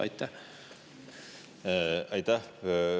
Aitäh!